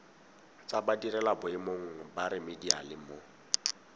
tsa badirelaboemong ba remediale mo